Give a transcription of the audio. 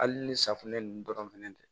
Hali ni safunɛ ninnu dɔrɔn fɛnɛ tɛ